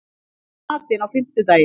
Vindar, hvað er í matinn á fimmtudaginn?